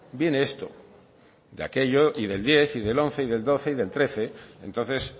viene esto de aquello y del diez y del once y del doce y del trece entonces